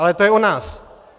Ale to je o nás!